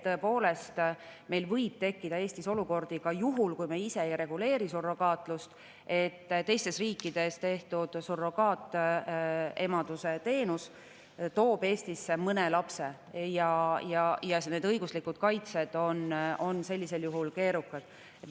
Tõepoolest, ka juhul, kui me ise ei reguleeri surrogaatlust, võib tekkida Eestis olukordi, kus teistes riikides surrogaatemaduse teenus toob Eestisse mõne lapse ja õiguslik kaitse on sellisel juhul keerukas.